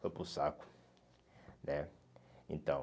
Foi para o saco. Né, então